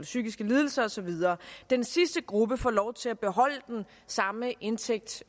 psykiske lidelser og så videre den sidste gruppe får lov til at beholde den samme indtægt